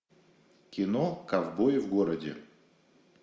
кино ковбои в городе